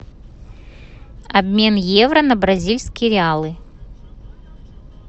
обмен евро на бразильские реалы